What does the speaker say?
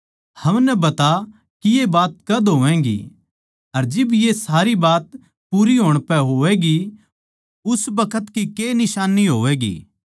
हमनै बता के ये बात कद होवैगी अर जिब ये सारी बात पूरी होण पै होवैगी उस बखत की के निशान्नी होवैगी